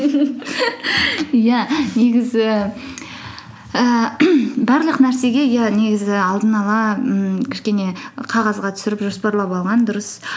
иә негізі ііі барлық нәрсеге иә негізі алдын ала ммм кішкене қағазға түсіріп жоспарлап алған дұрыс